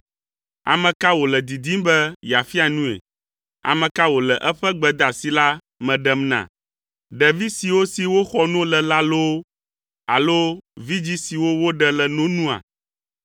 “Ame ka wòle didim be yeafia nue? Ame ka wòle eƒe gbedeasi la me ɖem na? Ɖevi siwo si woxɔ no le la loo alo vidzĩ siwo woɖe le no nua?